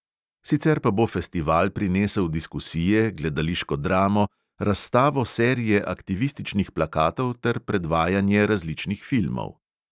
Sicer pa bo festival prinesel diskusije, gledališko dramo, razstavo serije aktivističnih plakatov ter predvajanje različnih filmov.